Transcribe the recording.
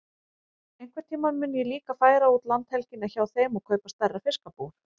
Einhvern tíma mun ég líka færa út landhelgina hjá þeim og kaupa stærra fiskabúr.